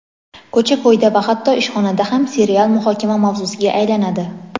ko‘cha-ko‘yda va hatto ishxonada ham serial muhokama mavzusiga aylanadi.